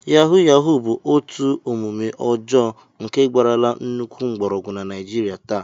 Yahuu yahuu bụ otu omume ọjọọ nke gbarala nnukwu mgbọrọgwụ na Naijiria taa